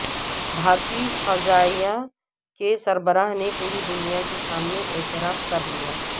بھارتی فضائیہ کے سربراہ نے پوری دنیا کے سامنے اعتراف کر لیا